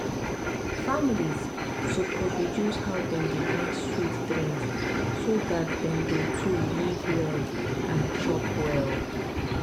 families suppose reduce how dem dey drink sweet drinks so dat dem go to live well and chop well.